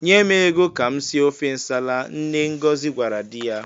"Nye m ego ka m sie ofe nsala," nne Ngozi gwara di ya.